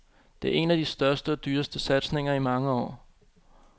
Det er en af de største og dyreste satsninger i mange år.